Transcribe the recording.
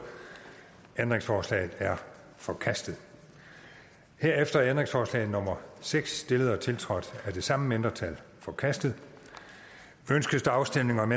ændringsforslaget er forkastet herefter er ændringsforslag nummer seks stillet og tiltrådt af det samme mindretal forkastet ønskes der afstemning om